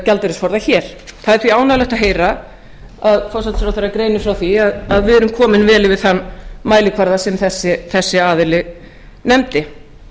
gjaldeyrisforða hér það er því ánægjulegt að heyra að forsætisráðherra greinir frá því að við erum komin vel yfir þann mælikvarða sem þessi aðili nefndi